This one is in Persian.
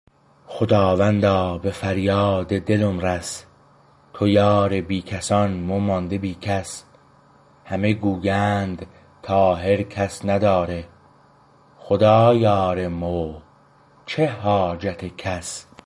خداوندا به فریاد دلم رس کس بی کس تویی مو مانده بی کس همه گویند طاهر کس نداره خدا یار مویه چه حاجت کس